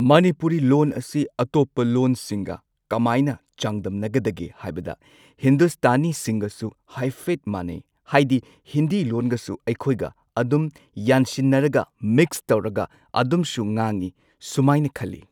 ꯃꯅꯤꯄꯨꯔꯤ ꯂꯣꯟ ꯑꯁꯤ ꯑꯇꯣꯞꯄ ꯂꯣꯟꯁꯤꯡꯒ ꯀꯃꯥꯢꯅ ꯆꯥꯡꯗꯝꯅꯒꯗꯒꯦ ꯍꯥꯏꯕꯗ ꯍꯤꯟꯗꯨꯁꯇꯥꯅꯤꯁꯤꯡꯒꯁꯨ ꯍꯥꯏꯐꯦꯠ ꯃꯥꯟꯅꯩ ꯍꯥꯏꯗꯤ ꯍꯤꯟꯗꯤ ꯂꯣꯟꯒꯁꯨ ꯑꯩꯈꯣꯏꯒ ꯑꯗꯨꯝ ꯌꯥꯟꯁꯤꯟꯅꯔꯒ ꯃꯤꯛꯁ ꯇꯧꯔꯒ ꯑꯗꯨꯝꯁꯨ ꯉꯥꯡꯉꯤ ꯁꯨꯃꯥꯏꯅ ꯈꯜꯂꯤ꯫